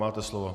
Máte slovo.